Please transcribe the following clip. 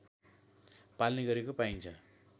पाल्ने गरेको पाइन्छ